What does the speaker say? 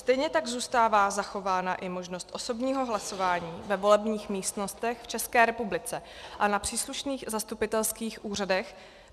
Stejně tak zůstává zachována i možnost osobního hlasování ve volebních místnostech v České republice a na příslušných zastupitelských úřadech.